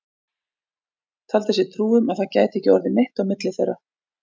Taldi sér trú um að það gæti ekki orðið neitt á milli þeirra.